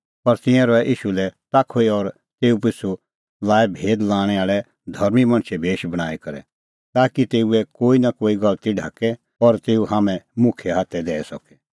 पर तिंयां रहै ईशू लै ताखुई और तेऊ पिछ़ू लाऐ भेद लणै आल़ै धर्मीं मणछे भेश बणांईं करै ताकि तेऊए कोई नां कोई गलती ढाके और तेऊ हाम्हैं मुखिये हाथै दैई सके